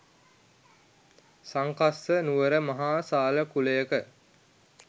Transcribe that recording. සංකස්ස නුවර මහාසාල කුලයක